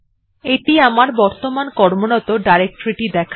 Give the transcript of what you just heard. এটি আমার বর্তমান কর্মরত ডাইরেকটরি টি দেখায়